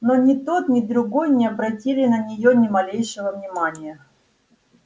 но ни тот ни другой не обратили на неё ни малейшего внимания